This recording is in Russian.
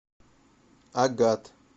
агат